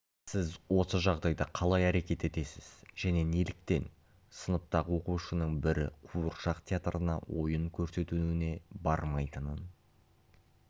сіз осы жағдайда қалай әрекет етесіз және неліктен сыныптағы оқушының бірі қуыршақ театрына ойын көрсетуіне бармайтынын